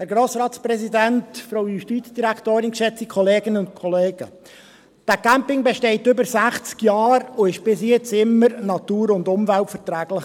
Dieser Campingplatz besteht seit über 60 Jahren und war bis jetzt immer natur- und umweltverträglich.